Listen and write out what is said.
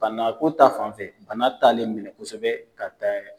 Bana ko ta fanfɛ bana talen don kosɛbɛ ka taa.